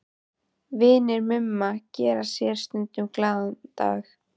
Vinir Mumma gera sér stundum glaðan dag í